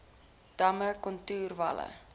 damme kontoer walle